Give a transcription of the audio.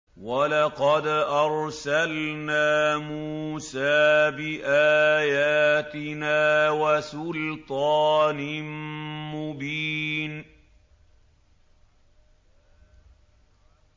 وَلَقَدْ أَرْسَلْنَا مُوسَىٰ بِآيَاتِنَا وَسُلْطَانٍ مُّبِينٍ